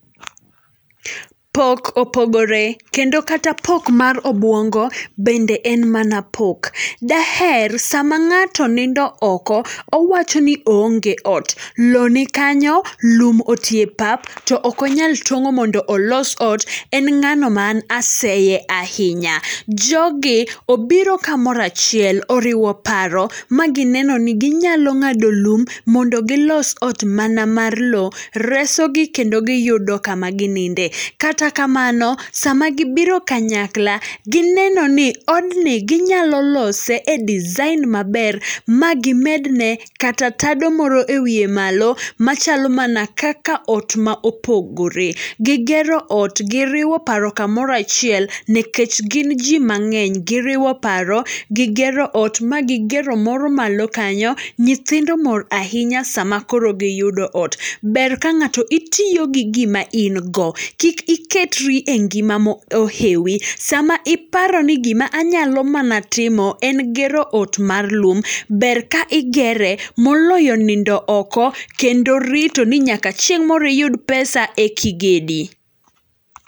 Pok opogore, kendo kata pok mar obuongo bende en mana pok. Daher sama ng'ato nindo oko owachoni oonge ot, loo ni kanyo, lum otie pap to okonyal tong'o mondo olos ot, en ng'ano man aseye ahinya. Jogi obiro kamora achiel oriwo paro magineno ni ginyalo ng'ado lum mondo gilos ot mana mar loo, reso gi kendo giyudo kama gininde. Kata kamano, sama gibiro kanyakla, ginenoni odni ginyalo lose e design maber, magimedne kata tado moro e wie malo machalo mana kaka otma opogore. Gigero ot, giriwo paro kamoro achiel, nikech gin jii mang'eny, giriwo paro, gigero ot magigero moro malo kanyo, nyithindo mor ahinya sama akoro giyudo ot. Ber ka ng'ato itiyo gi gima ingo, kik iketri e ngima mo ohewi, sama iparoni gima anyalo mana timo en gero ot mar lum, ber ka igere moloyo nindo oko, kendo ritoni nyaka chieng' moro iyud pesa eka igedi.